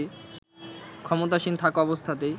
ক্ষমতাসীন থাকা অবস্থাতেই